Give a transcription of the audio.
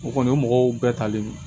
O kɔni o ye mɔgɔw bɛɛ talen ye